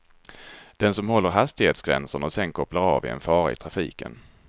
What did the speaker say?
Den som håller hastighetsgränserna och sedan kopplar av är en fara i trafiken.